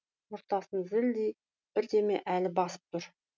ортасын бірдеме әлі басып түр